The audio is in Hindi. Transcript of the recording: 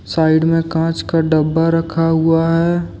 साइड में कांच का डब्बा रखा हुआ है।